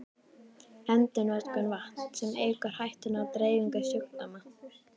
Endurnotkun vatns, sem eykur hættuna á dreifingu sjúkdóma.